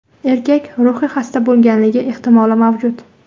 Erkak ruhiy xasta bo‘lganligi ehtimoli mavjud.